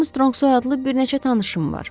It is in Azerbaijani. Armstronq soyadlı bir neçə tanışım var.